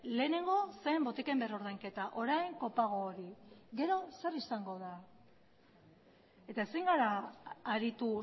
lehenengo zen botiken orain kopago hori gero zer izango da eta ezin gara aritu